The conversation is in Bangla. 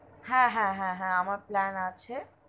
হা হা হা আমার plan আছে.